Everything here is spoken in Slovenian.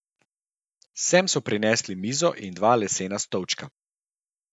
Sem so prinesli mizo in dva lesena stolčka.